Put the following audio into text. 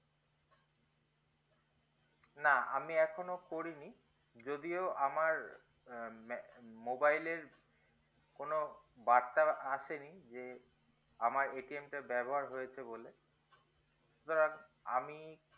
না আমি এখনো করিনি যদিও আমার আহ mobile এর কোনো বার্তার আসেনি যে আমার টা ব্যবহার হয়েছে বলে সুতরাং আমি